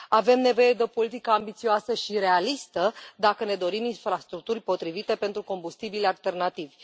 Avem nevoie de o politică ambițioasă și realistă, dacă ne dorim infrastructuri potrivite pentru combustibilii alternativi.